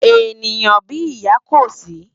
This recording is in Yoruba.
Éniyán bi iyá kó si